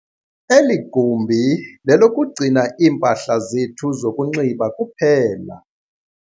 Eli gumbi lelokugcina iimpahla zethu zokunxiba kuphela.